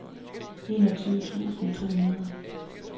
enogtyve tusind to hundrede